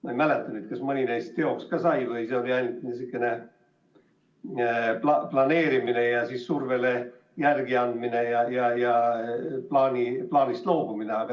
Ma ei mäleta, kas mõni neist ka teoks sai või oli see ainult sihukene planeerimine ja siis survele järele andmine ja plaanist loobumine.